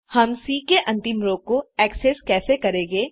हम सी के अंतिम रो को एक्सेस कैसे करेंगे